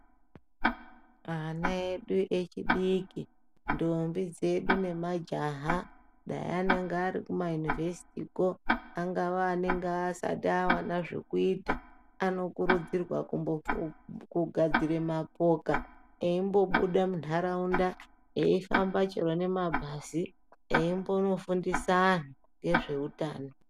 Ana edu echidiki, ndombi dzedu nemajaha dai anenge ari Kuma univhesiti kwo angava anenge asati awana zvekuita anokurudzirwa kugadzira mapoka eimbobuda munharaunda eifamba chero nemabhazi eimbonofundisa antu ngezveutano.